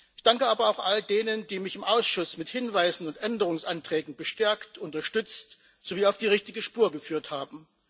Ich danke aber auch all denen, die mich im Ausschuss mit Hinweisen und Änderungsanträgen bestärkt, unterstützt sowie auf die richtige Spur geführt haben.